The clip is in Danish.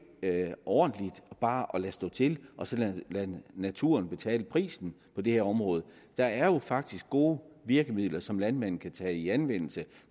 ordentligt bare at lade stå til og så lade naturen betale prisen på det her område der er jo faktisk gode virkemidler som landmanden kan tage i anvendelse